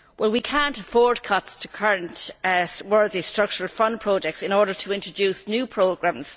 We cannot afford cuts to current worthy Structural Fund projects in order to introduce new programmes.